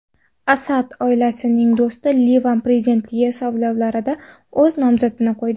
Asad oilasining do‘sti Livan prezidentligi saylovlarida o‘z nomzodini qo‘ydi.